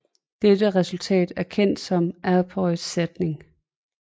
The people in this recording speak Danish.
Dette resultat er kendt som Apérys sætning